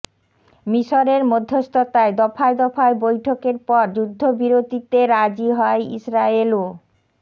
মিসরের মধ্যস্থতায় দফায় দফায় বৈঠকের পর যুদ্ধবিরতিতে রাজি হয় ইসরায়েল ও